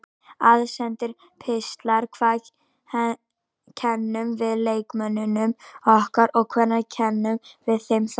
Aðsendir pistlar Hvað kennum við leikmönnunum okkar og hvenær kennum við þeim það?